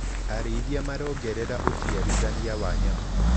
Arĩithia marongerera uciarithania wa nyama.